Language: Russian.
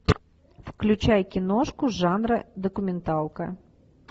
включай киношку жанра документалка